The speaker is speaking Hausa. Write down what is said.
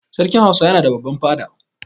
Sarkin Hausawa yana da babban fada.